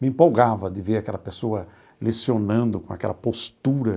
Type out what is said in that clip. Me empolgava de ver aquela pessoa lecionando com aquela postura.